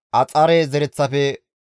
Geba7oone zereththafe 95;